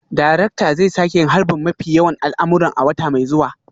Darakta zai sake yin harbin mafi yawan al'amuran a wata mai zuwa